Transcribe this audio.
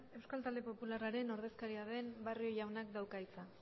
euskal talde popularraren ordezkaria den barrio jaunak dauka hitza